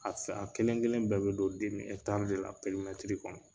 A kelen kelen bɛɛ be don de la kɔnɔ.